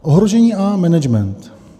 Ohrožení a management.